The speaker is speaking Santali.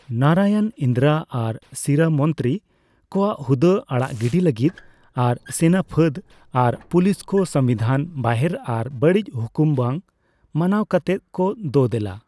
ᱱᱟᱨᱟᱭᱚᱱ ᱤᱱᱫᱤᱨᱟ ᱟᱨ ᱥᱤᱨᱟᱹ ᱢᱚᱱᱛᱨᱤ ᱠᱚᱣᱟᱜ ᱦᱩᱫᱟᱹ ᱟᱲᱟᱜ ᱜᱤᱰᱤ ᱞᱟᱹᱜᱤᱫ ᱟᱨ ᱥᱮᱱᱟᱯᱷᱟᱹᱫ ᱟᱨ ᱯᱩᱞᱤᱥ ᱠᱚ ᱥᱚᱝᱵᱤᱫᱷᱟᱱ ᱵᱟᱦᱮᱨ ᱟᱨ ᱵᱟᱹᱲᱤᱡ ᱦᱩᱠᱩᱢ ᱵᱟᱝ ᱢᱟᱱᱟᱣ ᱠᱟᱛᱮᱫ ᱠᱚ ᱫᱳᱼᱫᱮᱞᱟ ᱾